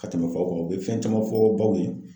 Ka tɛmɛ faw kan u bɛ fɛn caman fɔ baw ye.